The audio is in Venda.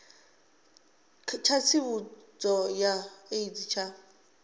tsha tsivhudzo ya aids tsha